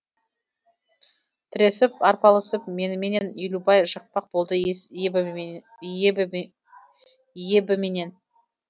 тіресіп арпалысып меніменен елубай жықпақ болды ебіменен